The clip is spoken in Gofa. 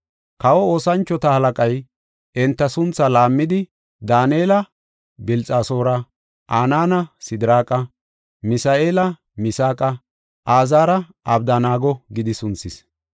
Kawa oosanchota halaqay enta suntha laammidi, Daanela Bilxasoora, Anaana Sidiraaqa, Misa7eela Misaaqa, Azaara Abdanaago gidi sunthis.